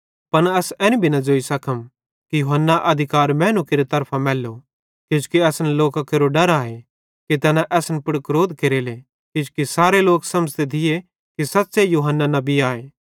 पन अस एन भी नईं ज़ोइ सकम कि यूहन्ना अधिकार मैनू केरि तरफां मैल्लो किजोकि असन लोकां केरो डर आए कि तैना असन पुड़ क्रोध केरले किजोकि सारे लोक समझ़ते थिये कि सच़्चे यूहन्ना नबी आए